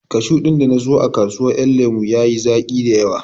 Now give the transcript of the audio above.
Kashu ɗin da na siyo a kasuwar ƴan lemo ya yi zaƙi dayawa